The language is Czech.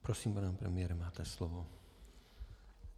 Prosím, pane premiére, máte slovo.